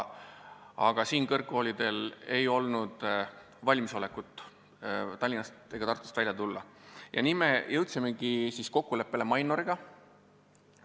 Aga nendel kõrgkoolidel ei olnud valmisolekut Tallinnast või Tartust väljapoole tulla ja nii jõudsime lõpuks kokkuleppele Mainoriga.